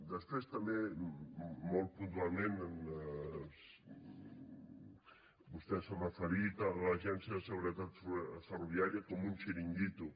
després també molt puntualment vostè s’ha referit a l’agència de seguretat ferroviària com un xiringuito